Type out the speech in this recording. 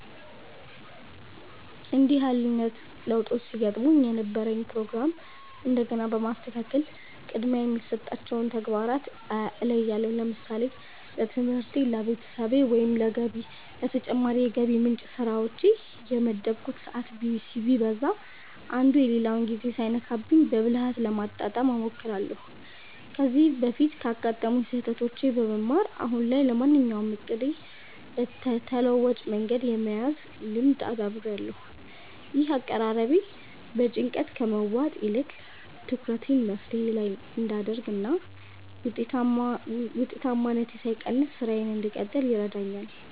እንዲህ አይነት ለውጦች ሲገጥሙኝ የነበረኝን ፕሮግራም እንደገና በማስተካከል ቅድሚያ የሚሰጣቸውን ተግባራት እለያለሁ። ለምሳሌ ለትምህርቴ፣ ለቤተሰቤ ወይም ለተጨማሪ የገቢ ምንጭ ስራዎቼ የመደብኩት ሰዓት ቢዛባ፣ አንዱ የሌላውን ጊዜ ሳይነካብኝ በብልሃት ለማጣጣም እሞክራለሁ። ከዚህ በፊት ካጋጠሙኝ ስህተቶች በመማር፣ አሁን ላይ ለማንኛውም እቅዴ ተለዋጭ መንገድ የመያዝ ልምድ አዳብሬያለሁ። ይህ አቀራረቤ በጭንቀት ከመዋጥ ይልቅ ትኩረቴን መፍትሄው ላይ እንድ አደርግ እና ውጤታማነቴ ሳይቀንስ ስራዬን እንድቀጥል ይረዳኛል።